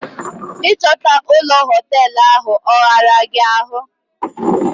Ị chọta ụlọ hoteelu ahụ, ọ ghara gị ahụ?